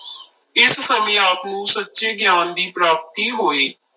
ਇਸ ਸਮੇਂ ਆਪ ਨੂੰ ਸੱਚੇ ਗਿਆਨ ਦੀ ਪ੍ਰਾਪਤੀ ਹੋਈ।